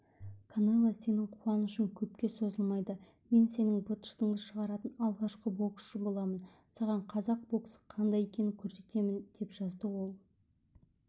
канело сенің қуанышың көпке созылмайды мен сенің быт-шытыңды шығаратын алғашқы боксшы боламын саған қазақ боксы қандай екенін көрсетемін деп жазды ол